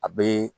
A bɛ